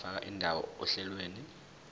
ungafaka indawo ohlelweni